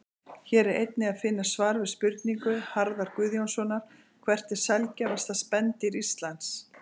Hér er einnig að finna svar við spurningu Harðar Guðjónssonar Hvert er sjaldgæfasta spendýr Íslands?